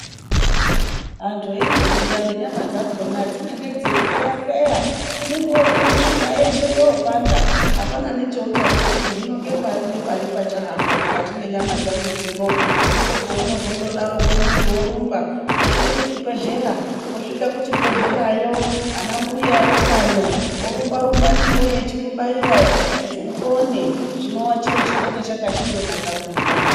Vantu veindokura nenyama dzakhona dzinenge dzeikweya kweya unenge woozwa mishuna yeshe yopanda, apana cheuchazwa kuti hino ngepari pachahamba mukati mwenyama dzangu dzino ndipo peunozondodaroko muntu orumba oenda kuchibhedhlera osvika kuchibhedhlerayo ana mbuya eutano orumba rumba newe echikubaira kuti upone, chinowa chiro chinenge chakandonaka mumuganga.